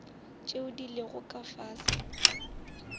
tše di lego ka fase